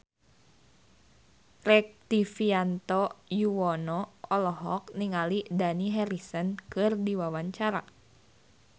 Rektivianto Yoewono olohok ningali Dani Harrison keur diwawancara